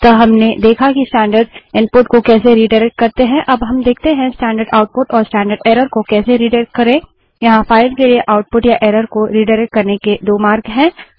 अतः हमने देखा कि स्टैंडर्ड इनपुट को कैसे रिडाइरेक्ट करते हैं अब देखते हैं कि स्टैंडर्ड आउटपुट और स्टैंडर्ड एरर को कैसे रिडाइरेक्ट करें यहाँ फाइल के लिए आउटपुट या एरर को रिडाइरेक्ट करने के दो मार्ग हैं